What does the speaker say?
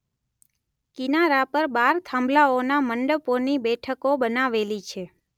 કિનારા પર બાર થાંભલાઓના મંડપોની બેઠકો બનાવેલી છે.